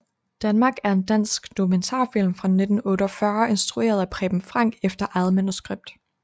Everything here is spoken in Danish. Danmark er en dansk dokumentarfilm fra 1948 instrueret af Preben Frank efter eget manuskript